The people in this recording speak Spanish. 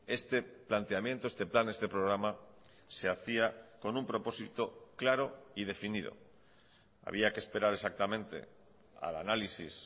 este planteamiento este plan este programa se hacía con un propósito claro y definido había que esperar exactamente al análisis